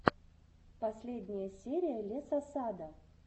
последняя серия лесосада